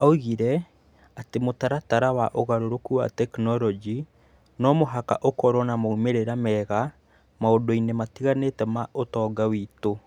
Oigire atĩ mũtaratara wa ũgarũrũku wa tekinolonjĩ no mũhaka ũkorũo na moimĩrĩro mega maũndũ-inĩ matiganĩte ma ũtonga witũ.